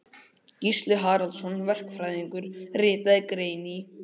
Gísli Halldórsson verkfræðingur ritaði grein í